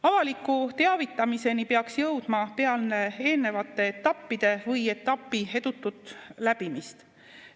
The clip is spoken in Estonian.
Avaliku teavitamiseni peaks jõudma peale eelnevate etappide või etapi edutut läbimist.